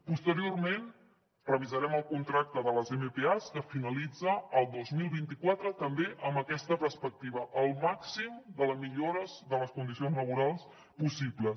posteriorment revisarem el contracte de les mpas que finalitza el dos mil vint quatre també amb aquesta perspectiva el màxim de les millores de les condicions laborals possibles